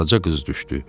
Qaraca qız düşdü.